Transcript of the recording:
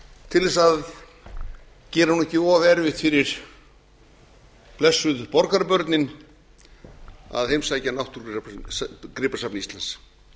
til að gera ekki of erfitt fyrir blessuð borgarbörnin að heimsækja náttúrugripasafn íslands